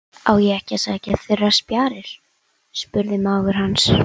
Á ég ekki að sækja þurrar spjarir? spurði mágur hans.